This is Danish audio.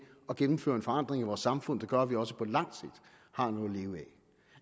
at gennemføre en forandring i vores samfund der gør at vi også på langt sigt har noget at leve